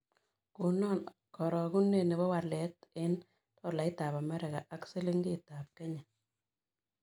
Konan karogunet ne po walet eng' tolaitap amerika ak silingiitap kenye